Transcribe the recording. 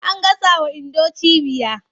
An gasawa Indo cibiya.